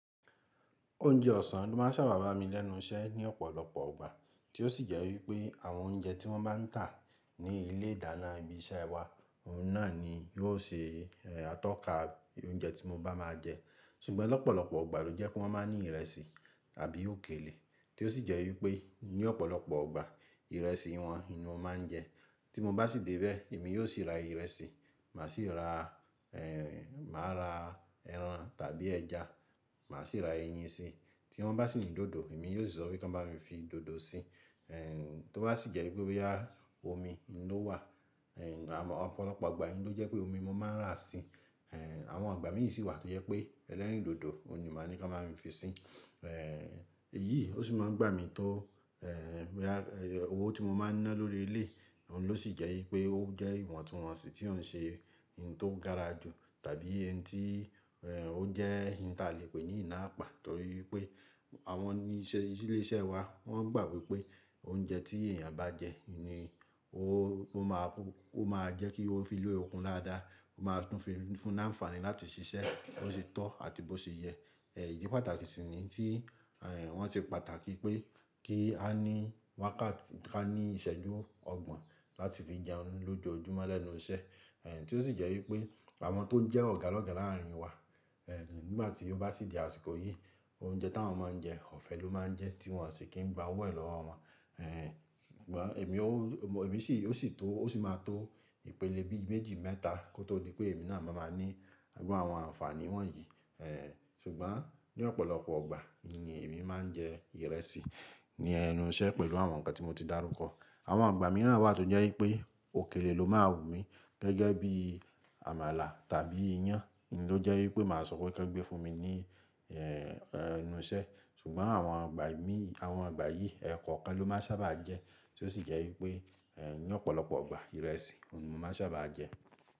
Oúnjẹ ọ̀sán ló máa ń ṣàbàwá mi lẹ́nu iṣẹ́ ní ọ̀pọ̀lọpọ̀ ìgbà, tí ó sì jẹ́ wípé àwọn oúnjẹ tí wọ́n bá ń tà ní ilé ìdáná ibi iṣẹ́ wa, oun náà ni yóò ṣe atọ́ka oúnjẹ tí mo bá máa jẹ. Ṣùgbọ́n lọ́pọ̀lọpọ̀ ìgbà ló jẹ́ pé wọ́n máa ń ní ìrẹsì àbí òkèlè, tí ó sì jẹ́ wípé ní ọ̀pọ̀lọpọ̀ ìgbà ìrẹsì wọn ni mo máa ń jẹ. Tí mo bá sì dé bẹ́ẹ̀, èmi yóò sì ra ìrẹsì, màá sì ra, èèè máa ra ẹran tàbí ẹja, màá sì ra eyin si. Tí wọ́n bá sì ní dòdò, èmi yóò sọ wípé kí wọ́n bá mi fi dòdò sí. Ehn, tó bá sì jẹ́ wípé bí i á, omi ló wà, ehn àwọn ọ̀pọ̀lọpọ̀ ọgbà ni ó jẹ́ pé omi mo máa ń rà si. Ehn, àwọn igbà míì sì wà tí ó jẹ́ pé ẹlẹ́rìndòdò ni màá ní kí wọ́n bá mi fi si. Ehn, èyí ó sì máa ń gbà mí tó, ehn bí i a, owó tí mo máa ń ná lórí ilé, oun ló sì jẹ́ wípé ó jẹ́ ìwọ̀ntúnwọ̀nsì tí òun ṣe ohun tó gára jù tàbí ohun tí, ehn ó jẹ́ ohun tí a lè pè ní iná àpá torí pé àwọn oníṣẹ́ ilé iṣẹ́ wa wọ́n gbà wípé oúnjẹ tí èèyàn bá jẹ ni ó, ó máa, ó máa jẹ́ kí ó fi ní okun lára dáa, ó máa tún fi fún ní àǹfààní láti ṣiṣẹ́ bó ṣe tọ́ àti bó ṣe yẹ. Ehn, ìdí pàtàkì sì ni tí, ehn wọ́n ti pàtàkì pé kí a ní wákàtí, ká ní ìṣẹ́jú ọgbọ̀n láti fi jẹ oúnjẹ lójoojúmọ́ lẹ́nu iṣẹ́. Ehn, tí ó sì jẹ́ wípé àwọn tó ń jẹ́ ọ̀gá lọ́gá láàrin wa, ehn nígbà tí ó bá sì di àsìkò yìí, oúnjẹ tí àwọn máa ń jẹ ọ̀fẹ́ ló máa ń jẹ́ tí wọ́n sì kí n gba owó è lọ́wọ́ wọn. Ehn, ṣùgbọ́n èmi ó, èmi sì, ó sì tó, ó sì máa tó ìpele bí i méjì mẹ́ta kó tó di pé èmi náà máa máa ní àwọn àǹfààní wọ̀nyí. Ehn, ṣùgbọ́n ní ọ̀pọ̀lọpọ̀ ọgbà ni èmi máa ń jẹ ìrẹsì ní ẹnu iṣẹ́ pẹ̀lú àwọn ǹkan tí mo ti dárúkọ. Àwọn ìgbà mìíràn wà tó jẹ́ wípé òkèlè ló máa wù mí gẹ́gẹ́ bí àmàlà tàbí iyán, ló jẹ́ wípé màá sọ pé kí wọ́n gbé fún mi ní, ehn ẹnu iṣẹ́. Ṣùgbọ́n àwọn ìgbà míì, àwọn ìgbà yìí ẹkọ̀ kan ló máa sábà jẹ́ tí ó sì jẹ́ wípé, ehn ní ọ̀pọ̀lọpọ̀ ìgbà ìrẹsì ni mo máa sábà jẹ́.